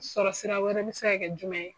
Sɔrɔsira wɛrɛ bi se ka kɛ jumɛn ye?